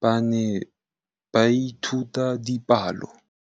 ba ne ba ithuta dipalo.